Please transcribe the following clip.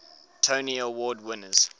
tony award winners